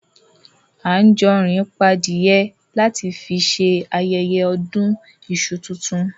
Anjorin pa adìyẹ lati fi ṣe ayẹyẹ ọdún iṣu tuntun.